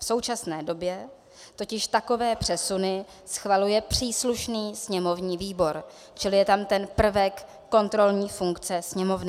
V současné době totiž takové přesuny schvaluje příslušný sněmovní výbor, čili je tam ten prvek kontrolní funkce Sněmovny.